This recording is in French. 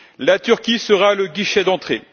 La Turquie sera le guichet d'entrée.